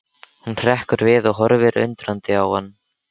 Hún hrekkur við og horfir undrandi á hann.